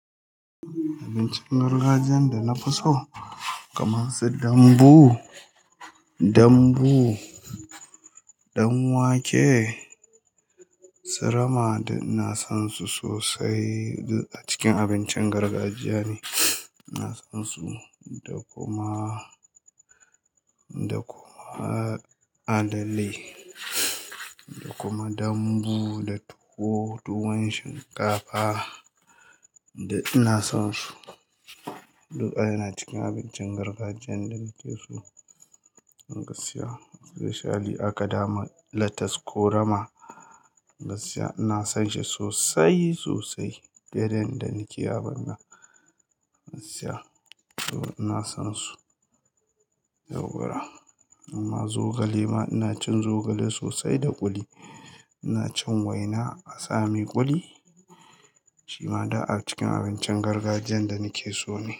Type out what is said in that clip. Abincin gargajiyan da nafi so kamar su dambu, dambu, danwake, su rama duk na san su sosai duk acikin abincin gargajiya ne. Ina son su da kuma, da kuma alale da kuma dambu da tuwo, tuwon shinkafa duk ina son su. Du ka yana cikin abincin gargajiyan da nake so. Gaskiya, especially aka dama lettuce ko rama gaskiya ina son shi sosai, sosai. Dare da ni ke abun nan in siya. To ina son su yauwa, amma zogale ma ina cin zogale sosai da kuli. Ina cin waina asami kuli shima da a cikin abincin gargajiyan da nake so ne.